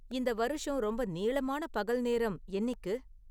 இந்த வருஷம் ரொம்ப நீளமான பகல் நேரம் என்னிக்கு?